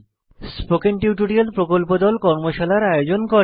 spoken tutorial প্রকল্প দল কর্মশালার আয়োজন করে